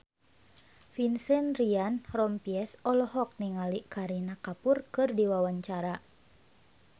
Vincent Ryan Rompies olohok ningali Kareena Kapoor keur diwawancara